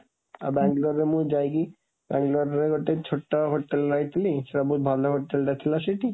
ଆଉ ବାଙ୍ଗାଲୋରରେ ମୁଁ ଯାଇକି ବାଙ୍ଗାଲୋରରେ ଗୋଟେ ଛୋଟ ହୋଟେଲରେ ରହିଥିଲି, ସେ ବହୁତ ଭଲ ହୋଟେଲ ଟା ଥିଲା ସେଇଠି।